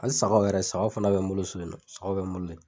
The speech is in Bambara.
Hali sagaw yɛrɛ sagaw fana bɛ n bolo so yen, saga bɛ n bolo ye.